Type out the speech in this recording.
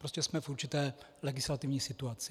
Prostě jsme v určité legislativní situaci.